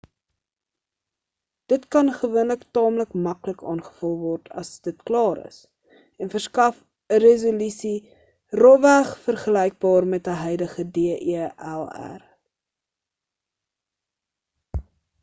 dit kan gewoonlik taamlik maklik aangevul word as dit klaar is en verskaf 'n resolusie rofweg vergelykbaar met 'n huidige delr